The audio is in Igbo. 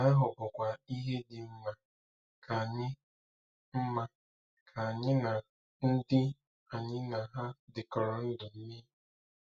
Nke ahụ bụkwa ihe dị mma ka anyị mma ka anyị na ndị anyị na ha dịkọrọ ndụ mee.